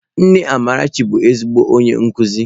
Nne Amarachi bụ ezigbo onye nkuzi.